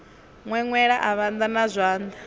ṅweṅwela a vhanda na zwanḓa